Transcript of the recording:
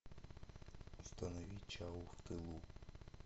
установи чау в тылу